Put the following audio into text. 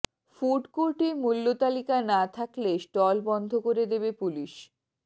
food কোর্টে মূল্য তালিকা না থাকলে স্টল বন্ধ করে দেবে পুলিশ